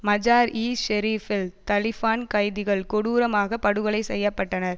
மஜார் இ ஷெரீபில் தலிபான் கைதிகள் கொடூரமாக படுகொலை செய்ய பட்டனர்